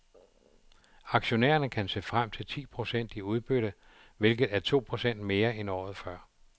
Aktionærerne kan se frem til ti procent i udbytte, hvilket er to procent mere end året før.